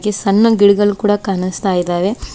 ಗೆ ಸಣ್ಣು ಗಿಡಗಳು ಕೂಡ ಕಾಣಿಸ್ತಾ ಇದಾವೆ.